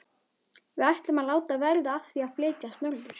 Við ætlum að láta verða af því að flytjast norður.